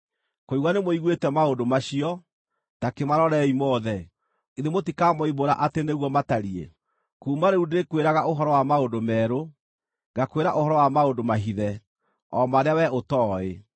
Kũigua nĩmũiguĩte maũndũ macio; ta kĩmarorei mothe. Githĩ mũtikamoimbũra atĩ nĩguo matariĩ? “Kuuma rĩu ndĩĩkwĩraga ũhoro wa maũndũ merũ, ngakwĩra ũhoro wa maũndũ mahithe, o marĩa wee ũtooĩ.